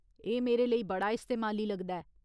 एह् मेरे लेई बड़ा इस्तेमाली लगदा ऐ।